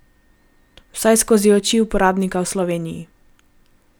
Vsaj skozi oči uporabnika v Sloveniji.